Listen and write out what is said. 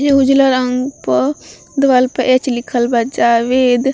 ये उजला रंग प दिवाल पर एच लिखल बा जावेद --